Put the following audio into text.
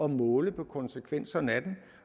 måle på konsekvenserne af den